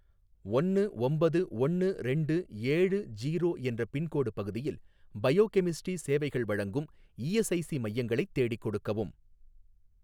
ஒன்னு ஒம்பது ஒன்னு ரெண்டு ஏழு ஜீரோ என்ற பின்கோடு பகுதியில் பயோகெமிஸ்ட்ரி சேவைகள் வழங்கும் இஎஸ்ஐசி மையங்களை தேடிக் கொடுக்கவும்.